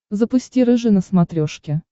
запусти рыжий на смотрешке